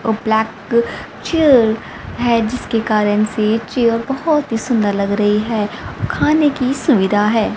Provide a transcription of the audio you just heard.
और black chair है जिसके कारण से चेयर बहोत ही सुंदर लग रही है। खाने की सुविधा है।